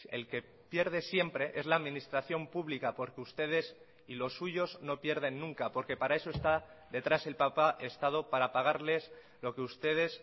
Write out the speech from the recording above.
el que pierde siempre es la administración pública porque ustedes y los suyos no pierden nunca porque para eso está detrás el papa estado para pagarles lo que ustedes